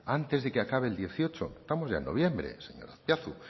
antes de que acaben el dieciocho estamos ya en noviembre señor azpiazu